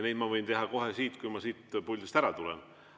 Seda ma võin teha kohe, kui ma siit puldist ära tulen.